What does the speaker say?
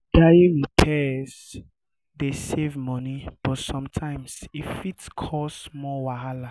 diy repairs dey save money but sometimes e fit cause more wahala.